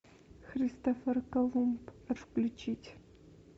христофор колумб включить